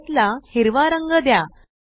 आयत ला हिरवा रंग द्या